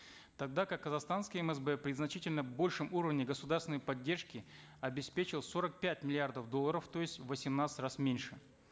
тогда как казахстанский мсб при значительно большем уровне государственной поддержки обеспечил сорок пять миллиардов долларов то есть в восемнадцать раз меньше